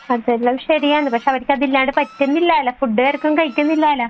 അത് ശരിയാണ് പക്ഷെ അവർക്ക് അതില്ലാണ്ട് പറ്റുന്നില്ലല്ലോ ഫുഡ് വരേയ്ക്കും കഴിക്കുന്നില്ലല്ലോ